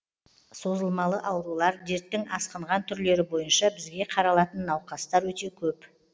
созылмалы аурулар дерттің асқынған түрлері бойынша бізге қаралатын науқастар өте көп